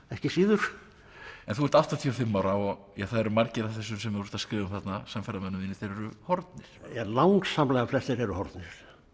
ekki síður en þú ert áttatíu og fimm ára og það eru margir af þessum sem þú ert að skrifa um þarna samferðamönnum þínum eru horfnir langsamlega flestir eru horfnir